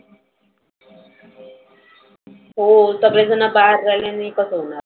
हो सगळे जन बाहेर राहिल्याने कसं होणार?